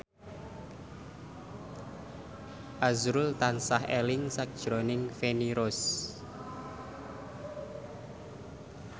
azrul tansah eling sakjroning Feni Rose